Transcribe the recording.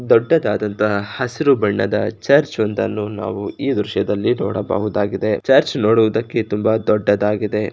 ದೊಡ್ಡದಾದಂತಹ ಹಸಿರು ಬಣ್ಣದ ಚರ್ಚಂದನ ನಾವು ಈ ದೃಶ್ಯದಲ್ಲಿ ನೋಡಬಹುದಾಗಿದೆ ಚರ್ಚ್ ಮಾಡುವುದಕ್ಕೆ ತುಂಬಾ ದೊಡ್ಡದಾಗಿದೆ.